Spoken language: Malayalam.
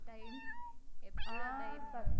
time എപ്പോഴും